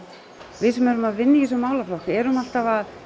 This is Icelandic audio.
við sem erum að vinna í þessum málaflokki erum alltaf að